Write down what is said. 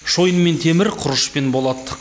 шойын мен темір құрыш пен болат